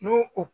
N'o o